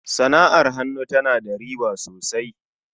sana'ar hannu ta na da riba sosai.